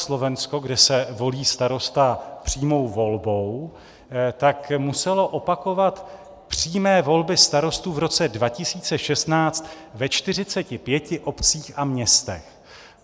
Slovensko, kde se volí starosta přímou volbou, tak muselo opakovat přímé volby starostů v roce 2016 ve 45 obcích a městech.